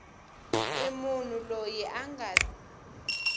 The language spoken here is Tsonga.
ri munhu loyi a nga